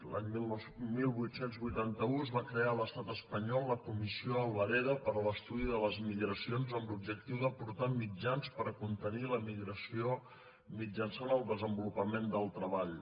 l’any divuit vuitanta u es va crear a l’estat espanyol la comissió alvareda per a l’estudi de les migracions amb l’objectiu d’aportar mitjans per contenir l’emigració mitjançant el desenvolupament del treball